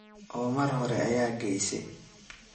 Oo mar hore ayageyse.